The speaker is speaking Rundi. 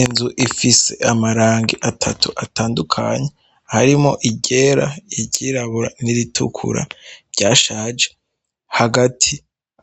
Inzu ifise amarangi atatu atandukanye, harimwo iryera, iryirabura, n'iritukura ryashaje, hagati